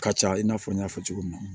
Ka ca i n'a fɔ n y'a fɔ cogo min na